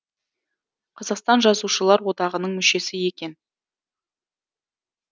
қазақстан жазушылар одағының мүшесі екен